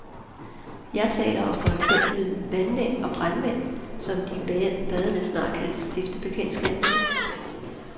Jeg taler om for eksempel vandmænd og brandmænd, som de badende snart kan stifte bekendtskab med.